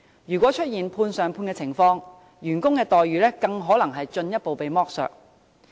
如果出現"判上判"的情況，員工的待遇更可能會進一步被剝削。